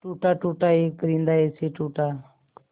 टूटा टूटा एक परिंदा ऐसे टूटा